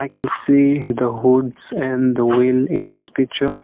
we can see the hoods and the wheel in this picture.